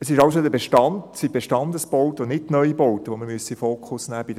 Es sind also die Bestandesbauten und nicht die Neubauten, die wir in den Fokus nehmen müssen.